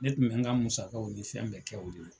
Ne tun bɛ n ka musakaw ni fɛn bɛɛ kɛ o de la